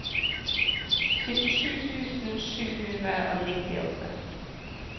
syttisju tusen sju hundre og nittiåtte